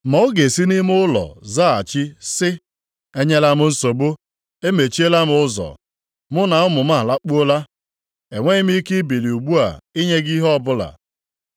Ma ọ ga-esi nʼime ụlọ zaghachi sị, ‘Enyela m nsogbu, emechiela m ụzọ, mụ na ụmụ m alakpuola, enweghị m ike ibili ugbu a inye gị ihe ọbụla.’